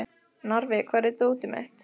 Narfi, hvar er dótið mitt?